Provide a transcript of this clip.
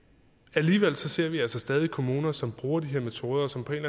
alligevel ser vi altså stadig kommuner som bruger de her metoder og som på en